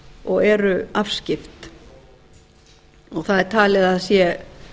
og eru afskipt og það er talið að það sé